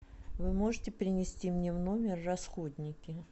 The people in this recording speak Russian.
вы можете принести мне в номер расходники